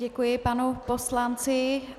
Děkuji panu poslanci.